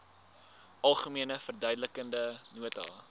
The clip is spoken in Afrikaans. algemene verduidelikende nota